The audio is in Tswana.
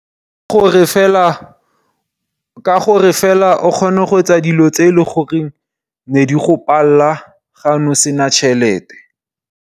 Ke gore fela, ka gore fela o kgone go etsa dilo tse e leng gore ne di go palela ga ne o sena tšhelete.